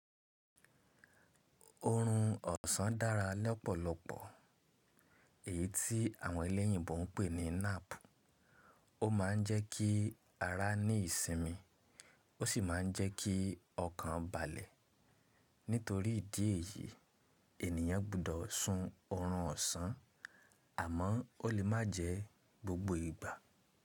Oorun ọ̀sán dára lọ́pọ̀lọpọ̀, èyí tí àwọn eleyìnbo ń pè ní nap. Ó maa ń jẹ́ kí ara ní ìsinmi ó sì ma ń jẹ́ kí ọkàn balẹ̀. Nítorí ìdí èyíi ènìyàn gbudọ̀ sun oorun ọ̀sán àmọ́ ó lè má jẹ gbogbo ìgbà.